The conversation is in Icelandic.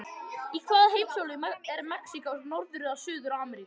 Í hvaða heimsálfu er Mexíkó, Norður- eða Suður-Ameríku?